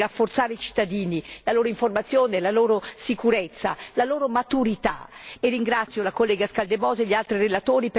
Ritengo che tutto il pacchetto vada nel senso del rafforzamento dei cittadini, della loro informazione, la loro sicurezza e la loro maturità.